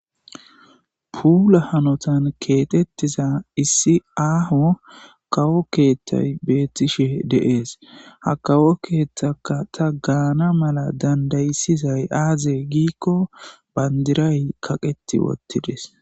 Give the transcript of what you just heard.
puula hanotan keexettiza issi aaho kawo keethtay bettishe deees ha kawo keeththaka ta gaana mala dandayisizay aaze giikko bandiray kaqeti uttides